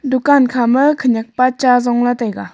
dukaan kha ma khaniak pa chaa zongla taiga.